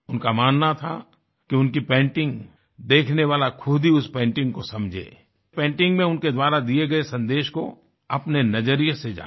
उनका मानना था कि उनकी पेंटिंग देखने वाला खुद ही उस पेंटिंग को समझे पेंटिंग में उनके द्वारा दिए गए संदेश को अपने नजरिए से जाने